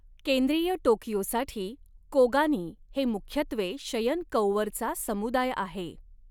केंद्रीय टोकियोसाठी कोगानी हे मुख्यत्वे शयनकौअरचा समुदाय आहे.